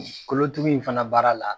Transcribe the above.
Kolotugu in fana baara la